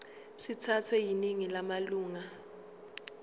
sithathwe yiningi lamalunga